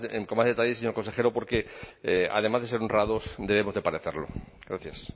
con más detalle señor consejero porque además de ser honrados debemos de parecerlo gracias